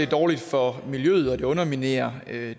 dårligt for miljøet og det underminerer